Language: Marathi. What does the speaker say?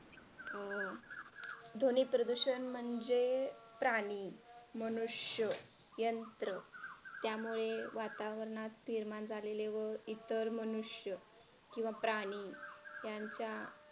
अं ध्वनी प्रदूषण म्हणजे प्राणी मनुष्य यंत्र त्यामुळे वातावरणात निर्माण झालेले व इतर मनुष्य किंवा प्राणी यांच्या